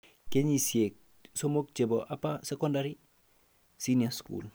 Kenyisiek somok chebo upper secondary (senior school)